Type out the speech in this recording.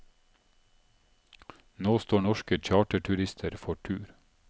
Nå står norske charterturister for tur.